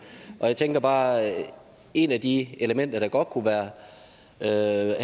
og jeg tænker bare at et af de elementer der godt kunne have